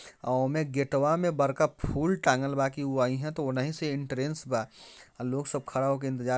अ ओमे गेटवा मे बड़का फूल टाँगल बा कि उ आहिए त ओनहि से एंट्रेंस बा लोग सब खड़ा होके इंतज़ार--